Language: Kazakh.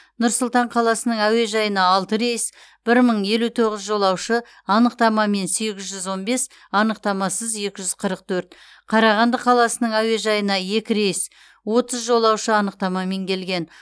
нұр сұлтан қаласының әуежайына алты рейс бір мың елу тоғыз жолаушы анықтамамен сегіз жүз он бес анықтамасыз екі жүз қырық төрт қарағанды қаласының әуежайына екі рейс отыз жолаушы анықтамамен келген